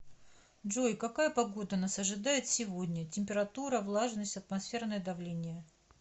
джой какая погода нас ожидает сегодня температура влажность атмосферное давление